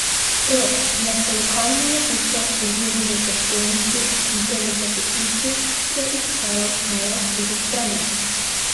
To, da so lokalno novico povzeli v prestolnici, in to v časopisu, ki je izhajal na le štirih straneh.